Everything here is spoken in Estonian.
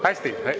Hästi!